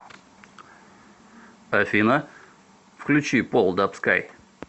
афина включи пол даб скай